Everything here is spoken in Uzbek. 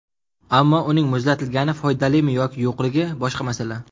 Ammo uning muzlatilgani foydalimi yoki yo‘qligi boshqa masala.